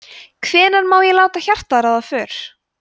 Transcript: hvenær má ég láta hjartað ráða för